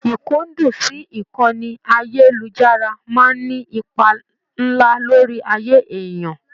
Ikundun sí ìkànnì ayelujara máa n ní ipá nlá lórí ayé èèyàn.